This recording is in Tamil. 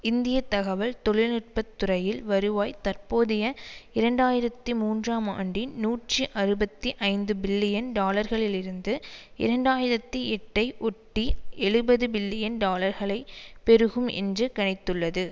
இந்திய தகவல் தெழில்நுட்பத்துறையில் வருவாய் தற்போதைய இரண்டாயிரத்தி மூன்றாம் ஆண்டின் நூற்றி அறுபத்தி ஐந்து பில்லியன் டாலர்களிலிருந்து இரண்டாயிரத்தி எட்டை ஒட்டி எழுபது பில்லியன் டாலர்களாகப் பெருகும் என்று கணித்துள்ளது